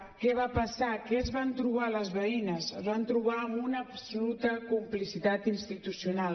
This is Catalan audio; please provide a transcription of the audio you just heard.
què va passar què es van trobar les veïnes es van trobar amb una absoluta complicitat institucional